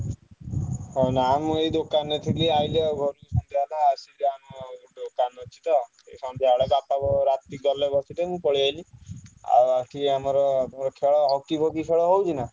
ଏ ନାଇଁ ମୁଁ ଏଇ ଦୋକାନ ରେ ଥିଲି ଆଇଲି ବାପା ଗଲେ ରାତିରେ ବସିଲେ ମୁଁ ପଳେଇଆସିଲି ଆଉ ଆସିକି ଆମର ହକି ଫକୀ ଖେଳ ହଉଛି ନା?